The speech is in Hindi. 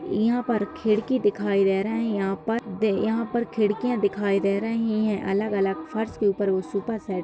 यहां पर खिड़की दिखाई दे रही है यहां पर दे खिड़कियां दिखाई दे रही है अलग-अलग फर्श के ऊपर वो सोफा सेट --